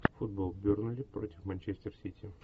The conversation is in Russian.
футбол бернли против манчестер сити